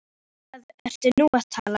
Um hvað ertu nú að tala?